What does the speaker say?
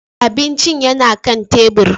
Abincin yana kan tebur.